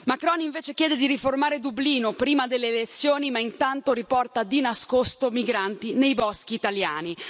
Il presidente Macron invece chiede di riformare Dublino prima delle elezioni, ma intanto riporta, di nascosto, migranti nei boschi italiani.